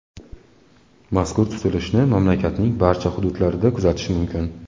Mazkur tutilishni mamlakatning barcha hududlarida kuzatish mumkin.